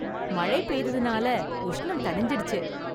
மழை பெய்ததனால உஷ்ணம் தணிஞ்சிடுச்சு.